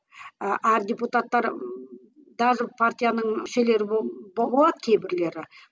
ы әр депутаттар даже партияның мүшелері болады кейбірлері